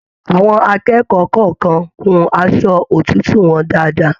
Àwọn akẹ́kọ̀ọ́ kọọkan hùn aṣọ òtútù wọn dáadáa.